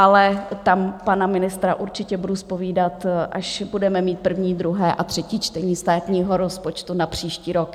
Ale tam pana ministra určitě budu zpovídat, až budeme mít první, druhé a třetí čtení státního rozpočtu na příští rok.